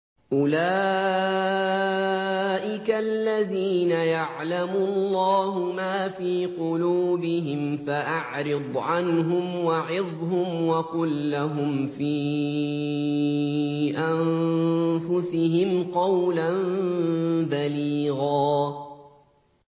أُولَٰئِكَ الَّذِينَ يَعْلَمُ اللَّهُ مَا فِي قُلُوبِهِمْ فَأَعْرِضْ عَنْهُمْ وَعِظْهُمْ وَقُل لَّهُمْ فِي أَنفُسِهِمْ قَوْلًا بَلِيغًا